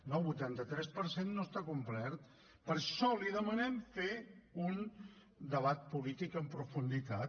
no el vuitanta tres per cent no està complert per això li demanem fer un debat polític en profunditat